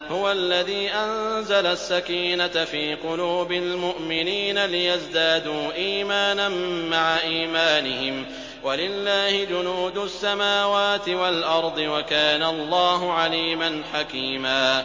هُوَ الَّذِي أَنزَلَ السَّكِينَةَ فِي قُلُوبِ الْمُؤْمِنِينَ لِيَزْدَادُوا إِيمَانًا مَّعَ إِيمَانِهِمْ ۗ وَلِلَّهِ جُنُودُ السَّمَاوَاتِ وَالْأَرْضِ ۚ وَكَانَ اللَّهُ عَلِيمًا حَكِيمًا